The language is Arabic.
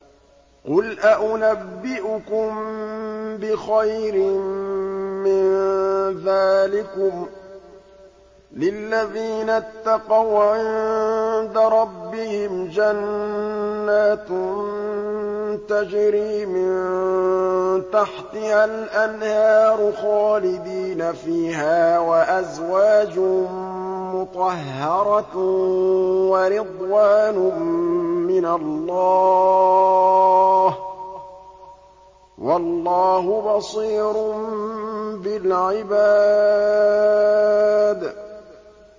۞ قُلْ أَؤُنَبِّئُكُم بِخَيْرٍ مِّن ذَٰلِكُمْ ۚ لِلَّذِينَ اتَّقَوْا عِندَ رَبِّهِمْ جَنَّاتٌ تَجْرِي مِن تَحْتِهَا الْأَنْهَارُ خَالِدِينَ فِيهَا وَأَزْوَاجٌ مُّطَهَّرَةٌ وَرِضْوَانٌ مِّنَ اللَّهِ ۗ وَاللَّهُ بَصِيرٌ بِالْعِبَادِ